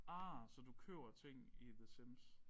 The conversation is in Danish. Ah så du køber ting i The Sims